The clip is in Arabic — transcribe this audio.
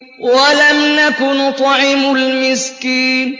وَلَمْ نَكُ نُطْعِمُ الْمِسْكِينَ